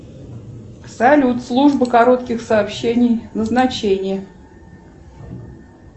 салют служба коротких сообщений назначение